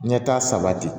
Ɲɛta sabati